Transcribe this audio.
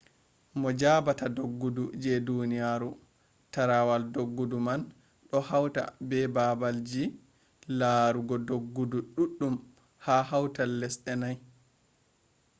mo jabata doggudu je duniyaru tarawal doggudu man do hauta be baabalji larugo doggudu duddum ha hautol lesde nai